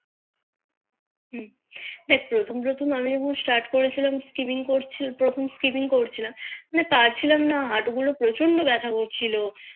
দেখ প্রথম প্রথম আমি যখন Start করেছিলাম শিপিং করছিলাম প্রথম শিপিং করছিলাম মানে পারছিলাম না হাটু গুলো প্রচন্ড বেথা করছিলো